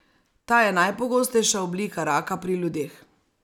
Ta je najpogostejša oblika raka pri ljudeh.